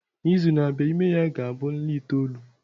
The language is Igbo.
N'izu na-abịa, ime ya ga-abụ nla itoolu.